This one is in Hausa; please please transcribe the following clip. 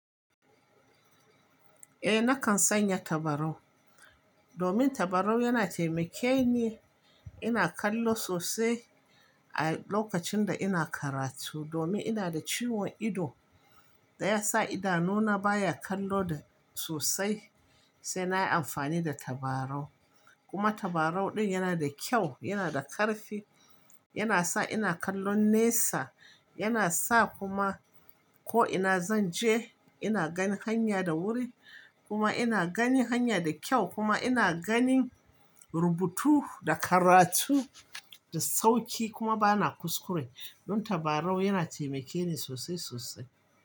Eh nakan sanya tabarau domin tabarau yana taimake ni. Ina kallo sosai a lokacin da ina karatu domin ina da ciwon ido da ya sa idanuna baya kallo da sosai sai na yi amfani da tabarau. Kuma tabarau din yana da kyau, yana da karfi, yana sa ina kallon nesa. Yana sa kuma ko ina zan je ina gani hanya da wuri kuma ina gani hanya da kyau kuma ina ganin rubutu da karatu da sauƙi kuma bana kuskure. Don tabarau yana taimake ni sosai sosai.